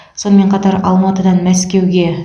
сонымен қатар алматыдан мәскеуге